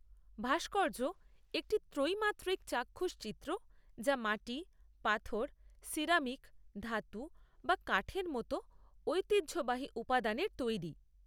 ভাস্কর্য একটি ত্রিমাত্রিক চাক্ষুষ চিত্র যা মাটি, পাথর, সিরামিক, ধাতু বা কাঠের মতো ঐতিহ্যবাহী উপাদানের তৈরি।